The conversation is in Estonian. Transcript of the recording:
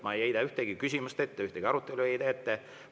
Ma ei heida ühtegi küsimust ette, ühtegi arutelu ei heida ette.